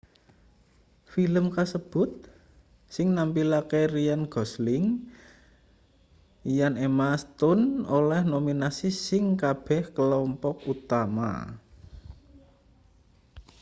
film kasebut sing nampilake ryan gosling lan emma stone oleh nominasi ing kabeh klompok utama